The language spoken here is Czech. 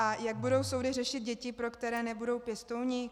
A jak budou soudy řešit děti, pro které nebudou pěstouni?